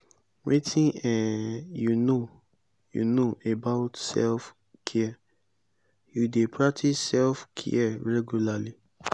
wetin um you know you know about self-care you dey practice self-care regularly?